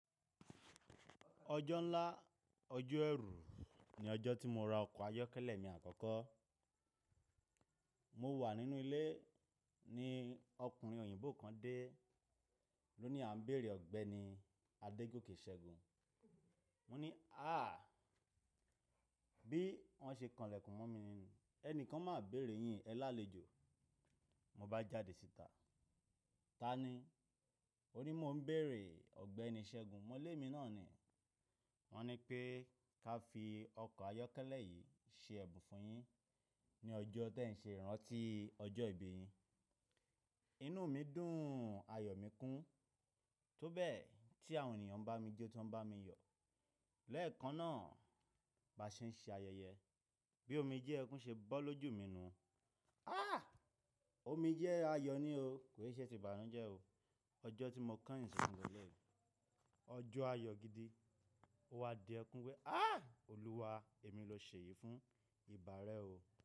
Ọjọ́ ńlá, ọjọ́ ẹrú ni ọjọ́ tí mo ra ọkọ̀ ayọ́kẹ́lẹ́ mi àkọ́kọ́. Mo wà nínú ilé ní ọkùnrin òyìnbó kan dé, ló ni a ń bèrè ọ̀gbẹ́ni Adégoke Segun. Mo ní à, bí wọn ṣe kànlẹ̀kùn mọ́ mi, ẹnìkan máa bèrè yin, ẹ lálejò. Mo bá jáde síta, ta ni? Ó ní mo ń bèrè Ọ̀gbẹ́ni Ṣẹ́gun. Mọ́ lẹ̀mi náà ni wọ́n ní pé ká fi ọkọ̀ ayọ́kẹ́lẹ́ yìí ṣe ẹ̀bùn fún yin ní ọjọ́ tí ẹ ń ṣe ìrántí ọjọ́ ìbí yin. Inú mi dùn, ayọ̀ mi kún. Tó bẹ́ẹ̀ tí àwọn ènìyàn ń bá mi jo tan ń bá mi yọ̀. Lẹ́ẹ̀kan náà ba ṣe ń ṣe ayẹyẹ, bí omijé ẹkún ṣe bọ́ lójú mi nu. Á! Omijé ayọ̀ ni o, kò ì ṣe ti ìbànújẹ́ o. Ọjọ́ tí mo kà ìn sunkun léleyi, ọjọ́ ayọ̀ gidi. Ó wá di ẹkún wẹ, á! Olúwa, èmi lọ ṣe èyí fún ìbà rẹ o.